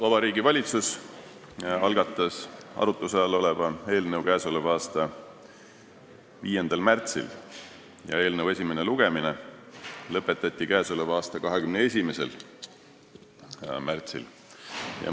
Vabariigi Valitsus algatas arutluse all oleva eelnõu k.a 5. märtsil ja selle esimene lugemine lõpetati k.a 21. märtsil.